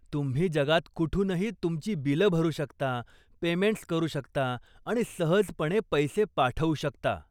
तुम्ही जगात कुठूनही तुमची बिलं भरू शकता, पेमेंट्स करू शकता आणि सहजपणे पैसे पाठवू शकता.